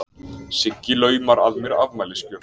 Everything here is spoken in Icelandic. Sigga laumar að mér afmælisgjöf.